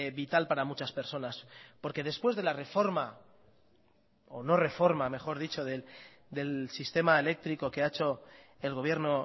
vital para muchas personas porque después de la reforma o no reforma mejor dicho del sistema eléctrico que ha hecho el gobierno